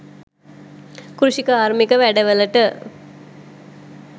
කෘෂිකාර්මික වැඩවලට